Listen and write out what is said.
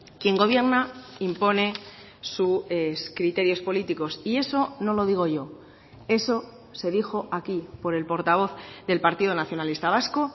quien gobierna impone sus criterios políticos y eso no lo digo yo eso se dijo aquí por el portavoz del partido nacionalista vasco